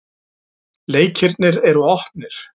Leikirnir er opnir.